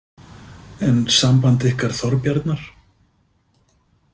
En samband ykkar Þorbjarnar?